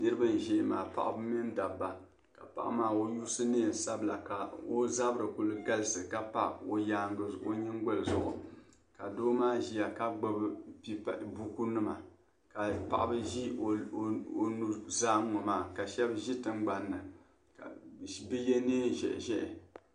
niriba n-ʒia maa paɣiba ni dabba ka paɣa maa o yuusi neen' sabila ka o zabiri kuli galisi ka pa o nyingoli zuɣu ka doo maa ʒia ka gbubi bukunima ka paɣiba ʒi o nuzaa ŋ-ŋɔ maa ka shɛba ʒi tiŋgbani ni ka bɛ ye neen' ʒɛhiʒɛhi